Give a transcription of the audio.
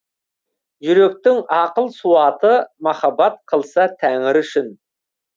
жүректің ақыл суаты махаббат қылса тәңірі үшін